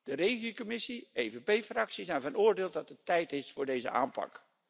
De REGI commissie en de PPE Fractie zijn van oordeel dat het tijd is voor deze aanpak.